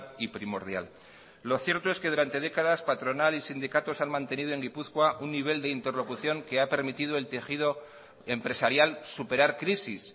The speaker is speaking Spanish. y primordial lo cierto es que durante décadas patronal y sindicatos han mantenido en gipuzkoa un nivel de interlocución que ha permitido el tejido empresarial superar crisis